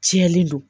Tiɲɛni don